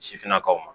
Sifinnakaw ma